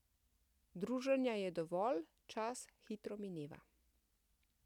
Druženja je dovolj, čas hitro mineva.